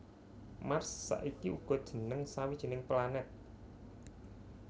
Mars saiki uga jeneng sawijining planet